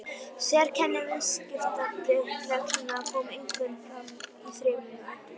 Sérkenni viðskiptabréfsreglna koma einkum fram í þremur atriðum.